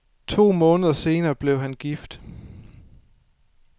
To måneder senere blev han gift.